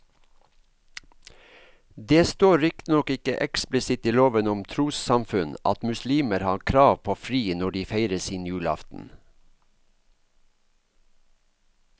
Det står riktignok ikke eksplisitt i loven om trossamfunn at muslimer har krav på fri når de feirer sin julaften.